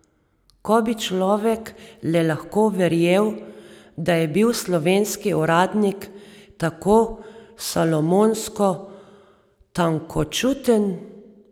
Ko bi človek le lahko verjel, da je bil slovenski uradnik tako salomonsko tankočuten!